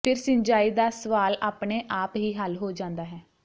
ਫਿਰ ਸਿੰਜਾਈ ਦਾ ਸਵਾਲ ਆਪਣੇ ਆਪ ਹੀ ਹੱਲ ਹੋ ਜਾਂਦਾ ਹੈ